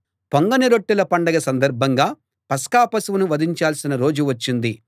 పొంగని రొట్టెల పండగ సందర్భంగా పస్కా పశువును వధించాల్సిన రోజు వచ్చింది